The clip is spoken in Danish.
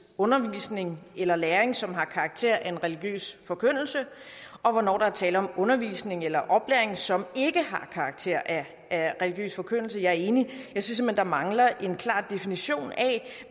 undervisning eller læring som har karakter af religiøs forkyndelse og hvornår der er tale om undervisning eller oplæring som ikke har karakter af religiøs forkyndelse jeg er enig jeg synes simpelt hen der mangler en klar definition af